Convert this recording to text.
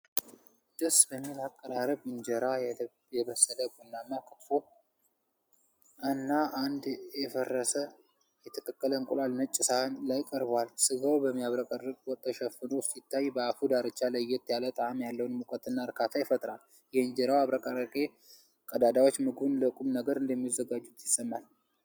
ደስ በሚል አቀራረብ በእንጀራ የበሰለ ቡናማ ክትፎ እና አንድ የፈረሰ የተቀቀለ እንቁላል ነጭ ሳህን ላይ ቀርቧል። ሥጋው በሚያብረቀርቅ ወጥ ተሸፍኖ ሲታይ፣ በአፉ ዳርቻ ለየት ያለ ጣዕም ያለውን ሙቀትና እርካታ ይፈጥራል። የእንጀራው አብረቅራቂ ቀዳዳዎች ምግቡን ለቁም ነገር እንደሚያዘጋጁት ይሰማል።